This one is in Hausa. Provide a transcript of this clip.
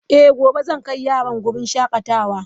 Eh gobe zan kai yaran wurin shakatawa.